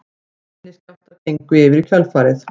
Minni skjálftar gengu yfir í kjölfarið